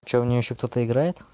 что в неё ещё кто-то играет